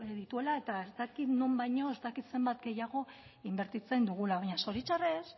dituela eta ez dakit non baino ez dakit zenbat gehiago inbertitzen dugula baina zoritxarrez